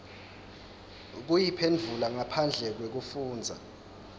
kuyiphendvula ngaphandle kwekufundza